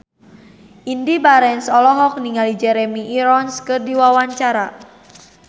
Indy Barens olohok ningali Jeremy Irons keur diwawancara